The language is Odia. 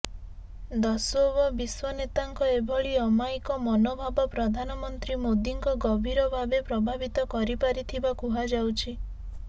ଦସ୍ୱବ ବିଶ୍ୱନେତାଙ୍କ ଏଭଳି ଅମାୟିକ ମନୋଭାବ ପ୍ରଧାନମନ୍ତ୍ରୀ ମୋଦିଙ୍କ ଗଭୀର ଭାବେ ପ୍ରଭାବିତ କରିପାରିଥିବା କୁହାଯାଉଛି